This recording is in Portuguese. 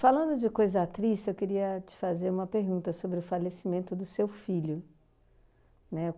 Falando de coisa triste, eu queria te fazer uma pergunta sobre o falecimento do seu filho, né?